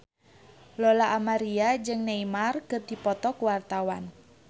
Lola Amaria jeung Neymar keur dipoto ku wartawan